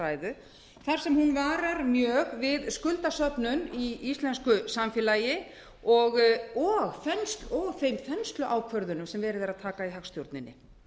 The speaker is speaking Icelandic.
ræðu þar sem hún varar mjög við skuldasöfnun í íslensku samfélagi og þeim þensluákvörðunum sem verið er að taka í hagstjórninni